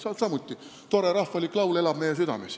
See on samuti tore rahvalik laul, mis elab meie südames.